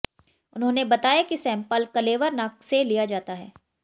उन्होंने बताया सैंपल कलेवर नाक से लिया जाता है